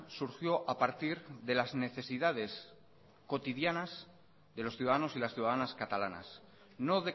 surgió a partir de las necesidades cotidianas de los ciudadanos y las ciudadanas catalanas no